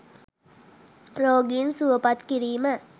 “රෝගීන් සුවපත් කිරීම”